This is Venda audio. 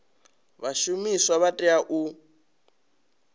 vha zwishumiswa vha tea u